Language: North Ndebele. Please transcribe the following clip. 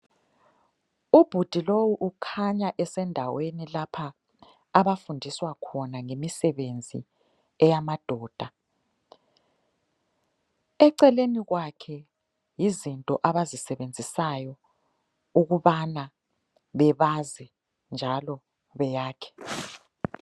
Ubhudi lowu ukhanya esendaweni lapho abafundiswa khona ngemisebenzi eyamadoda ,eceleni kwakhe yizinto abazisebenzisayo ukubana bebaze njalo beyakhe